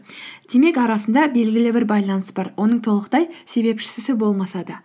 демек арасында белгілі бір байланыс бар оның толықтай себепшісі болмаса да